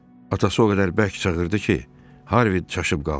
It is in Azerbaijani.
Atası o qədər bərk çağırdı ki, Harvid çaşıb qaldı.